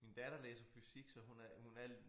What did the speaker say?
Min datter læser fysik så hun er hun er